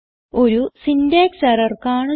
ഒരു syntax error കാണുന്നു